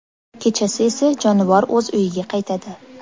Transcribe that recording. Kechasi esa jonivor o‘z uyiga qaytadi.